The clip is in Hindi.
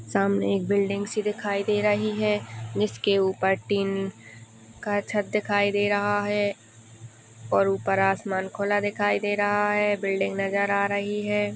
सामने एक बिल्डिंग सी दिखाई दे रही है जिसके ऊपर टीन का छत दिखाई दे रहा है और ऊपर आसमान खुला दिखाई दे रहा है बिल्डिंग नजर आ रही है।